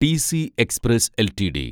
TC express LTD